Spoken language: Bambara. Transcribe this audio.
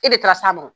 E de taara s'a ma